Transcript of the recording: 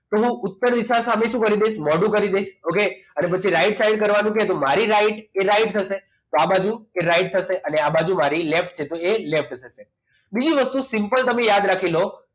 તો ઉત્તર દિશા સામે શું કરવાનું છે મોઢું કરી દઈશ okay પછી right side કરવાની છે તો મારી right એટલે મારી થશે આ બાજુ right થશે અને આ બાજુ મારી left એટલે left થશે બીજી વસ્તુ simple તમે યાદ રાખી લો